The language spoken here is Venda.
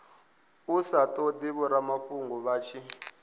sa todi vhoramafhungo vha tshi